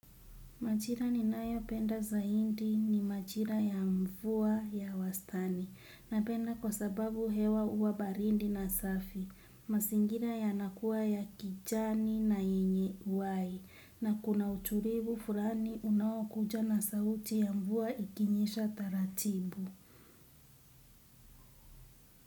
Majira ninayopenda zaidi ni majira ya mvua ya wastani. Napenda kwa sababu hewa uwa baridi na safi. Mazingira yanakuwa ya kijani na yenye uai. Na kuna utulivu fulani unaokuja na sauti ya mvua ikinyisha taratibu.